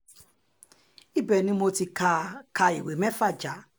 ibẹ̀ ni mo ti ka ka ìwé mẹ́fà já